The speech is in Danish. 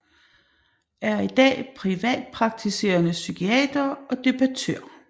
Er i dag privatpraktiserende psykiater og debattør